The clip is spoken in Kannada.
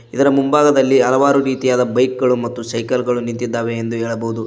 ಇದರ ಮುಂಭಾಗದಲ್ಲಿ ಹಲವಾರು ರೀತಿಯಾದ ಬೈಕ್ ಗಳು ಮತ್ತು ಸೈಕಲ್ ಗಳು ನಿಂತಿದ್ದಾವೆ ಎಂದು ಹೇಳಬಹುದು.